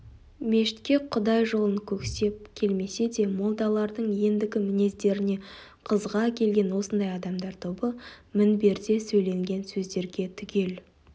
мешітке құдай жолын көксеп келмесе де молдалардың ендігі мінездеріне қызыға келген осындай адамдар тобы мінберде сөйленген сөздерге түгел